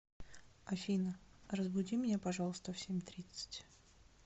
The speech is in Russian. афина разбуди меня пожалуйста в семь тридцать